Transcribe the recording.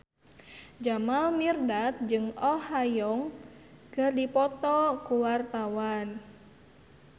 Jamal Mirdad jeung Oh Ha Young keur dipoto ku wartawan